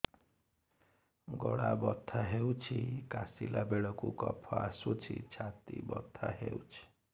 ଗଳା ବଥା ହେଊଛି କାଶିଲା ବେଳକୁ କଫ ଆସୁଛି ଛାତି ବଥା ହେଉଛି